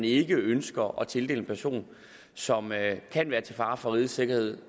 ikke ønsker at tildele en person som kan være til fare for rigets sikkerhed